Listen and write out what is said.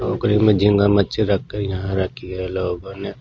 टोकरी में झिंगा मच्छी रख कर यहाँ रखी है लोगो ने--